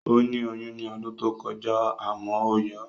Ó ní oyún ní ọdún tó kọjá àmọ́ ó yọ